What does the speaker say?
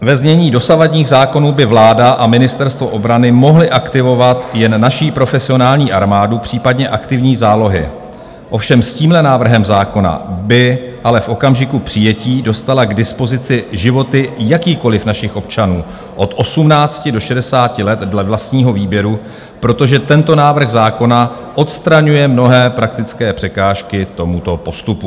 Ve znění dosavadních zákonů by vláda a Ministerstvo obrany mohly aktivovat jen naši profesionální armádu, případně aktivní zálohy, ovšem s tímhle návrhem zákona by ale v okamžiku přijetí dostala k dispozici životy jakýchkoliv našich občanů od 18 do 60 let dle vlastního výběru, protože tento návrh zákona odstraňuje mnohé praktické překážky tomuto postupu.